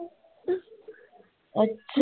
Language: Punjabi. ਅੱਛਾ